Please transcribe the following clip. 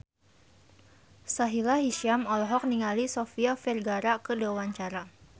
Sahila Hisyam olohok ningali Sofia Vergara keur diwawancara